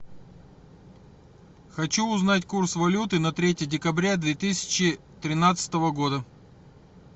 хочу узнать курс валюты на третье декабря две тысячи тринадцатого года